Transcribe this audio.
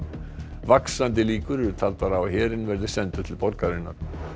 vaxandi líkur eru taldar á að herinn verði sendur til borgarinnar